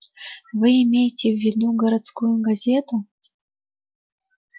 вы имеете в виду городскую газету